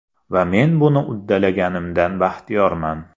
Va men buni uddalaganimdan baxtiyorman.